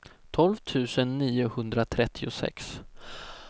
tolv tusen niohundratrettiosex